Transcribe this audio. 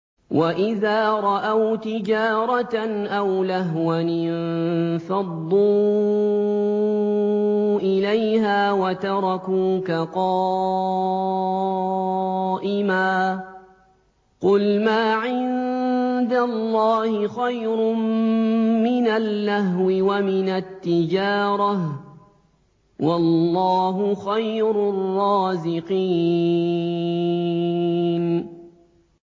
وَإِذَا رَأَوْا تِجَارَةً أَوْ لَهْوًا انفَضُّوا إِلَيْهَا وَتَرَكُوكَ قَائِمًا ۚ قُلْ مَا عِندَ اللَّهِ خَيْرٌ مِّنَ اللَّهْوِ وَمِنَ التِّجَارَةِ ۚ وَاللَّهُ خَيْرُ الرَّازِقِينَ